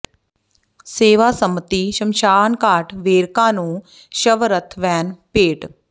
ਸੇਵਾ ਸੰਮਤੀ ਸ਼ਮਸ਼ਾਨਘਾਟ ਵੇਰਕਾ ਨੂੰ ਸ਼ਵ ਰੱਥ ਵੈਨ ਭੇਟ